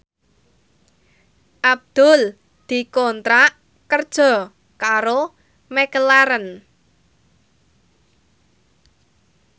Abdul dikontrak kerja karo McLarren